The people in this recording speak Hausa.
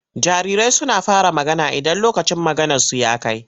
Jarirai suna fara magana idan lokacin maganarsu ya kai.